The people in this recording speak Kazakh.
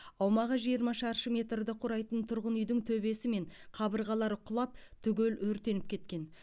аумағы жиырма шаршы метрді құрайтын тұрғын үйдің төбесі мен қабырғалары құлап түгел өртеніп кеткен